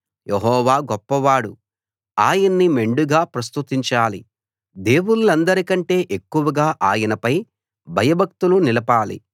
యెహోవా గొప్పవాడు ఆయన్ని మెండుగా ప్రస్తుతించాలి దేవుళ్ళందరికంటె ఎక్కువగా ఆయనపై భయభక్తులు నిలపాలి